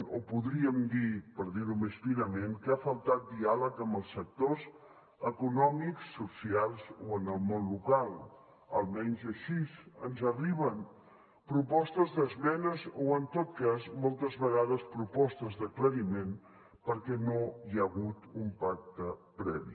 o podríem dir per dir ho més finament que ha faltat diàleg amb els sectors econòmics socials o amb el món local almenys així ens arriben propostes d’esmenes o en tot cas moltes vegades propostes d’aclariment perquè no hi ha hagut un pacte previ